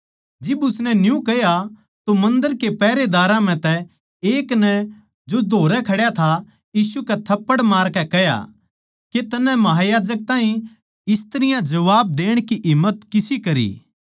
जिब उसनै न्यू कह्या तो मन्दर के पैहरेदारां म्ह तै एक नै जो धोरै खड्या था यीशु कै थप्पड़ मारकै कह्या के तन्नै महायाजक ताहीं इस तरियां जबाब देण की हिम्मत किसी करी